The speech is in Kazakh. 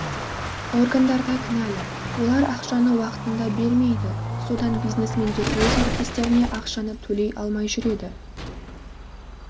органдар да кінәлі олар ақшаны уақытында бермейді содан бизнесмендер өз әріптестеріне ақшаны төлей алмай жүреді